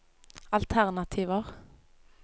alternativer